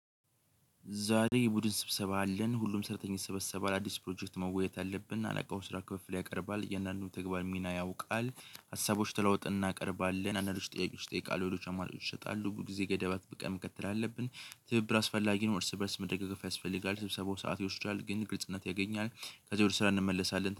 ዛሬ የቡድን ስብሰባ አለን ሁሉም ሰራተኛ ይሰበሰባል አዲስ ፕሮጀክት መወያየት አለብን አለቃው የስራ ክፍል ያቀርባል የእያንዳንዱን ተግባር ሚና ያውቃል። ሀሳቦች ተለዋውጠን እናቀርባለን አንዳንዶች ጥያቄዎች ይጠይቃሉ ሌሎች አማራጮች ይሰጣሉ በብዙ ጊዜ ገደባት በቀን መከተል አለብን። ትብብር አስፈላጊ ነው እርስ በእርስ መደጋገፍ ያስፈልጋል ስብሰባው ሰዓት ይወስዳል ግን ግልጽነት ያገኛል። ከዚያ ወደ ስራ እንመለሳለን።